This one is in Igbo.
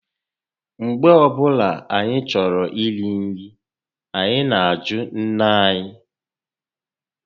Mgbe ọbụla anyị chọrọ iri nri, anyị nà ajụ nné anyị